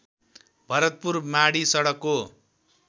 भरतपुर माडी सडकको